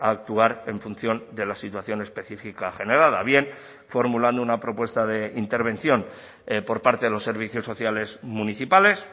a actuar en función de la situación específica generada bien formulando una propuesta de intervención por parte de los servicios sociales municipales